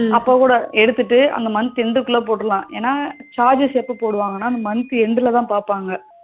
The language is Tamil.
அப்பக்கூட எடுத்துட்டு அந்த month end குள்ள போற்றலாம் ஏன்னா charges எப்போ போடுவாங்கனா இந்த month end ல பாப்பாங்க